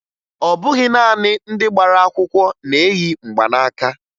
Ọ bụghị naanị ndị gbara akwụkwọ na-eyi mgbanaaka